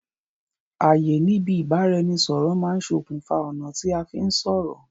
àyè níbi ìbáraẹnisọ̀rọ̀ má ń sokùn fa ọ̀nà tí a fí ń sọ̀rọ̀